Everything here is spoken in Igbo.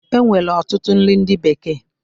E nwere ọtụtụ nri ndị bekee